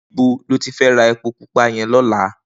Nibó lóti fè rá épó púpà yèn lòlá?